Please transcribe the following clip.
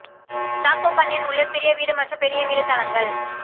choco Canyon உள்ள சிறிய வீடு மற்றும் பெரிய வீடு தளங்கள்